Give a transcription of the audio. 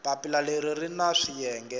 papila leri ri na swiyenge